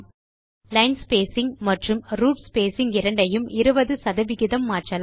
line spacing மற்றும் root spacing இரண்டையும் 20 சதவிகிதம் மாற்றலாம்